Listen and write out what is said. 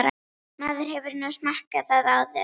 Maður hefur nú smakkað það áður.